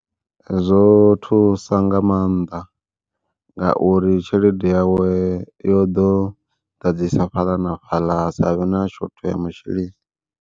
Zwo thusa nga maanḓa ngauri tshelede yawe yo ḓo ḓadzisa fhaḽa na fhaḽa ha savhe na shotho ya masheleni.